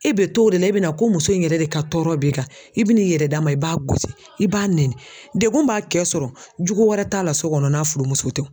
E bɛ to o de la i bɛna ko muso in yɛrɛ de ka tɔɔrɔ b'i kan i bɛ n'i yɛrɛ d'a ma i b'a gosi i b'a nɛni dekun b'a cɛ sɔrɔ jugu wɛrɛ t'a la so kɔnɔ n'a furumuso tɛ.